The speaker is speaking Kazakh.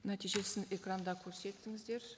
нәтижесін экранда көрсетіңіздер